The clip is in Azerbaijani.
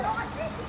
Hazır olacaq.